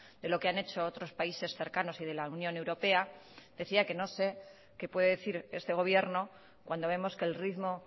de lo que han hecho otros países cercanos y de la unión europea decía que no sé que puede decir este gobierno cuando vemos que el ritmo